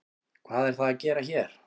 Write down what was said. Hvað er það að gera hér?